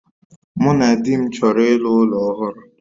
Mụ na di m chọrọ iru ụlọ ọhụrụ